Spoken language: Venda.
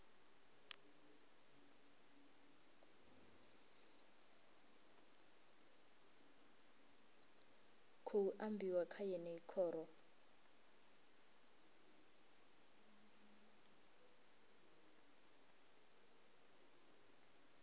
khou ambiwa kha yeneyi khoro